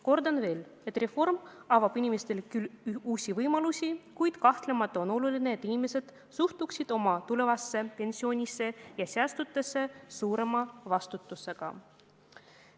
Kordan veel, et reform avab küll uusi võimalusi, kuid kahtlemata on oluline, et inimesed suhtuksid oma tulevasse pensionisse ja säästudesse suurema vastutusega.